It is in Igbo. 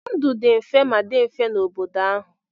Ndụ dị mfe ma dị mfe n'obodo ahụ.